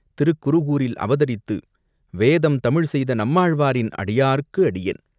திருக்குருகூரில் அவதரித்து, வேதம் தமிழ் செய்த நம்மாழ்வாரின் அடியார்க்கு அடியான்!